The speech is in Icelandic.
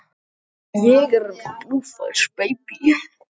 Hann er til fyrirmyndar utan sem innan vallar og verðskuldar kallið.